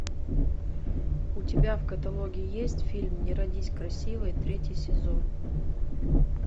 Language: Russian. у тебя в каталоге есть фильм не родись красивой третий сезон